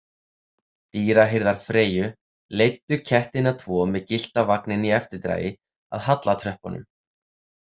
Dýrahirðar Freyju leiddu kettina tvo með gyllta vagninn í eftirdragi að hallartröppunum.